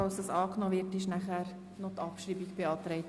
Falls es ange nommen wird, ist Abschreibung beantragt.